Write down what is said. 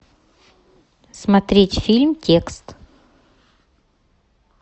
смотреть фильм текст